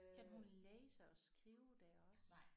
Kan hun læse og skrive det også?